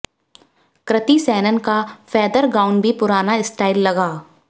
कृति सेनन का feather gown भी पुराना स्टाइल लगा